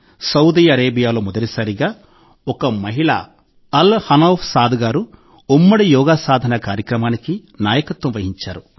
Saudi అరేబియాలో మొదటిసారిగా ఒక మహిళ అల్ హనౌఫ్ సాద్ గారు ఉమ్మడి యోగా సాధన కార్యక్రమానికి నాయకత్వం వహించారు